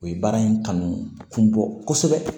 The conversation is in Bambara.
O ye baara in kanu kun bɔ kosɛbɛ